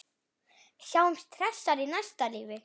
Sjáumst hressar í næsta lífi.